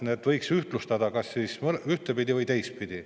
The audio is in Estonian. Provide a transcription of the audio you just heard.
Seda võiks ühtlustada kas siis ühtpidi või teistpidi.